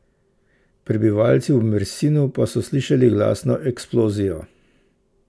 Prebivalci v Mersinu pa so slišali glasno eksplozijo.